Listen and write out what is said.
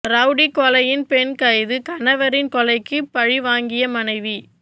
rowdy கொலையில் பெண் கைது கணவரின் கொலைக்கு பழி வாங்கிய மனைவி